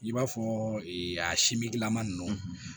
I b'a fɔ a simingilama ninnu